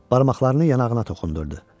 Barmaqlarını yanağına toxundurdu.